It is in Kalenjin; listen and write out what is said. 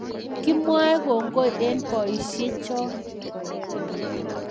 Kumwae kongoi eng boishek choo